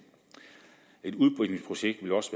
et udbygningsprojekt vil også